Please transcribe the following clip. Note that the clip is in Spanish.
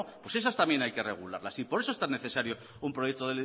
pues esas también hay que regularlas y por eso es tan necesario un proyecto